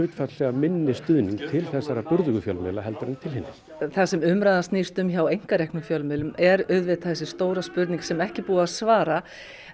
minni stuðning til þessara burðugu fjölmiðla heldur en til hinna það sem umræðan snýst um hjá einkareknum fjölmiðlum er þessi stóra spurning sem ekki er búið að svara